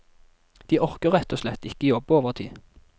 De orker rett og slett ikke jobbe overtid.